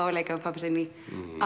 að leika við pabba sinn í